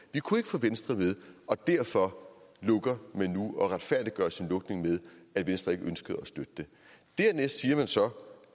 vi kunne ikke få venstre med og derfor lukker man nu og man retfærdiggør sin lukning med at venstre ikke ønskede at støtte det dernæst siger man så